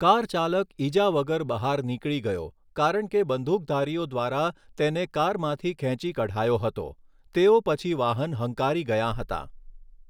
Car ચાલક ઈજા વગર બહાર નીકળી ગયો કારણ કે બંદૂકધારીઓ દ્વારા તેને કારમાંથી ખેંચી કઢાયો હતો, તેઓ પછી વાહન હંકારી ગયાં હતાં.